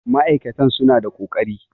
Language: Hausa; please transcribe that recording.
ma'aikatan suna da ƙoƙari